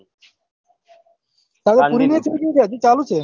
collage પૂરી નહી થઇ ગઈ કે હજી ચાલુ જ છે